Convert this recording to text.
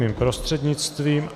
Mým prostřednictvím.